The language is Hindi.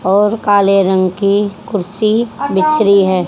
और काले रंग की कुर्सी दिख रही है।